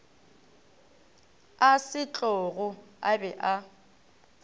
a setlogo a be a